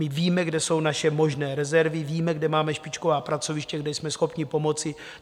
My víme, kde jsou naše možné rezervy, víme, kde máme špičková pracoviště, kde jsme schopni pomoci.